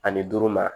Ani duuru ma